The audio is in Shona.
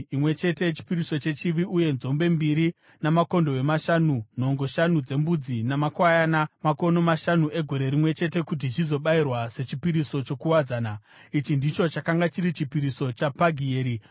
uye nzombe mbiri, makondobwe mashanu, nhongo shanu dzembudzi namakwayana makono mashanu egore rimwe chete, kuti zvizobayirwa sechipiriso chokuwadzana. Ichi ndicho chakanga chiri chipiriso chaPagieri mwanakomana waOkirani.